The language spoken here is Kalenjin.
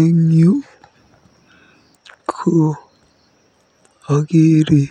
Eng yu ko akeere